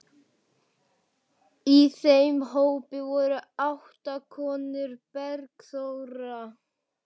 Í þeim hópi voru átta konur: Bergþóra